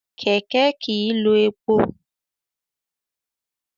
Kẹ̀kẹ́ kìí lo epo.